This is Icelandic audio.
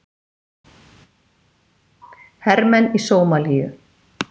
Hermenn í Sómalíu.